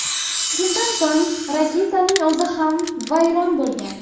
Shundan so‘ng raketaning o‘zi ham vayron bo‘lgan.